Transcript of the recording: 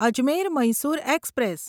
Ajmer Mysore express